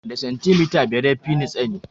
Da santimita biyar ya fini tsani